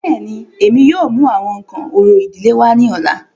Bẹ́ẹ̀ni, Emi yóò mu awọn nkan orȯ idile wa ni ọla.